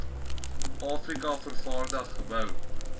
afrika vervaardig gebou